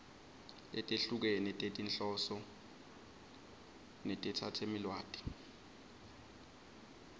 letehlukene tetinhloso netetsamelilwati